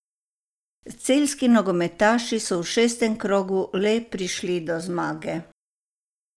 Celjski nogometaši so v šestem krogu le prišli do zmage.